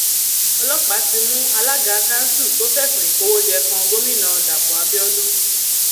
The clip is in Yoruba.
ọlọpàá ti mú alága kanṣu tó fẹsùn ìkówóje kan gomina dapò abiodun